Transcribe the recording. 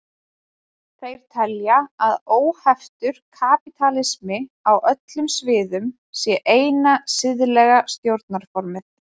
Þeir telja að óheftur kapítalismi á öllum sviðum sé eina siðlega stjórnarformið.